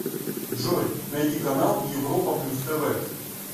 джой найди канал европа плюс тв